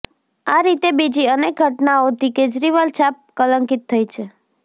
આ રીતે બીજી અનેક ઘટનાઓથી કેજરીવાલ છાપ કલંકિત થઈ છે